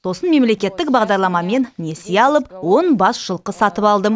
сосын мемлекеттік бағдарламамен несие алып он бас жылқы сатып алдым